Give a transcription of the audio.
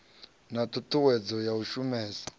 na ṱhuṱhuwedzo ya u shumesa